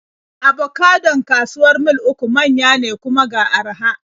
Abocadon kawuwar Mil 3 manya ne, kuma ga araha.